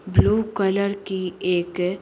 blue colour की एक--